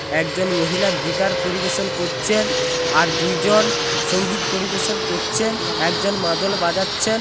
একজন মহিলা গিটার পরিবেশন করছেন। আর দুইজন সংগীত পরিবেশন করছেন। একজন মাদল বাজাচ্ছেন।